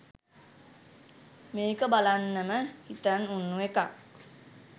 මේක බලන්නම හිතන් උන්නු එකක්.